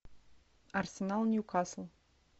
арсенал ньюкасл